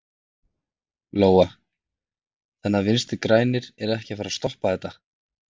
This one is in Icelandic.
Lóa: Þannig að Vinstri-grænir eru ekkert að fara að stoppa þetta?